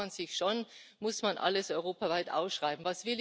Da fragt man sich schon Muss man alles europaweit ausschreiben?